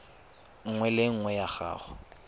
nngwe le nngwe ya go